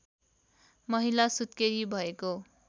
महिला सुत्केरी भएको